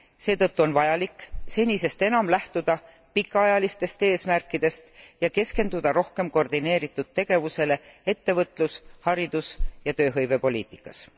Seetõttu on vajalik senisest enam lähtuda pikaajalistest eesmärkidest ja keskenduda rohkem koordineeritud tegevusele ettevõtlus haridus ja tööhõivepoliitikas.